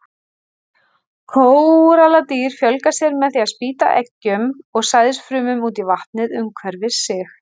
Kóralladýr fjölga sér með því að spýta eggjum og sæðisfrumum út í vatnið umhverfis sig.